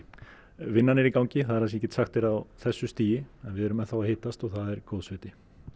vinnan er í gangi það sem ég get sagt þér á þessu stigi en við erum enn þá að hittast og það er góðs viti